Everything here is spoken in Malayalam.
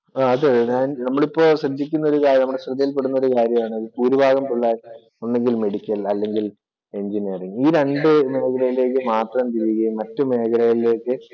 അത് നമ്മൾ ഇപ്പോൾ ശ്രദ്ധിക്കുന്ന ഒരു കാര്യമാണ് ശ്രദ്ധയില്‍ പെടുന്ന ഒരു കാര്യമാണ് ഈ ഭൂരിഭാഗം പിള്ളാരും ഒന്നുകില്‍ മെഡിക്കല്‍ അല്ലെങ്കില്‍ എഞ്ചിനിയറിംഗ് ഈ രണ്ടു മേഖലയിലേക്ക് മാത്രം മറ്റു മേഖലയിലേക്ക്